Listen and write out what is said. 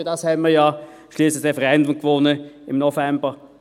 Dafür hatten wir ja schliesslich, im November 2018, das Referendum gewonnen.